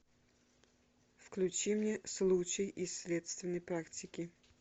включи мне случай из следственной практики